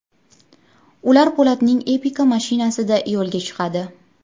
Ular Po‘latning Epica mashinasida yo‘lga chiqadi.